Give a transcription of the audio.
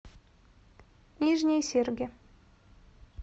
нижние серги